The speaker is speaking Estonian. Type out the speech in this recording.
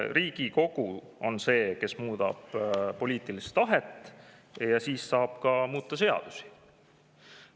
Riigikogu on see, kes muudab poliitilist tahet, ja siis saab muuta ka seadusi.